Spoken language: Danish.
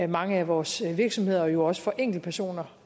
mange af vores virksomheder og jo også enkeltpersoner